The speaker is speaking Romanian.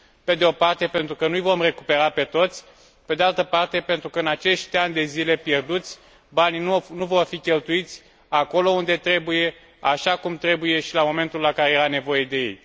Pe de o parte, pentru că nu îi vom recupera pe toți, pe de altă parte, pentru că, în acești ani de zile pierduți, banii nu vor fi cheltuiți acolo unde trebuie, așa cum trebuie și la momentul la care era nevoie de ei.